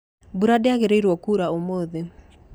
Mbura ndĩagĩrĩrwo kuura ũmũthĩ